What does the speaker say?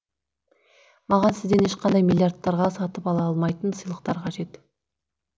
маған сізден ешқандай миллирадтарға сатып ала алмайтын сыйлықтар қажет